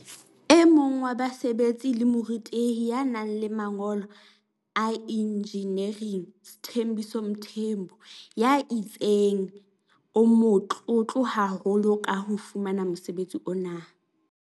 E mong wa basebetsi ke morutehi ya nang le mangolo a injiniering Sthembiso Mthembu ya itseng o motlotlo haholo ka ho fumana mosebetsi ona.